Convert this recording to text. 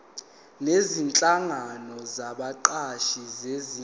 nezinhlangano zabaqashi zingenza